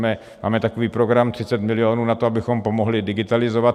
Máme takový program - 30 milionů na to, abychom pomohli digitalizovat.